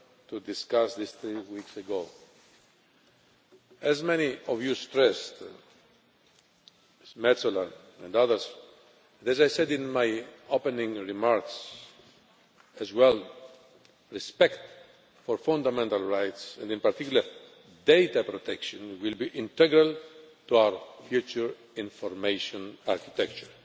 to discuss this three weeks ago. As many of you stressed, Ms Metsola and others, and as I said in my opening remarks respect for fundamental rights, and in particular, data protection, will be integral to our future information architecture.